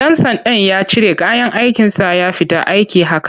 Ɗan sandan ya cire kayan aikinsa ya fita aiki haka.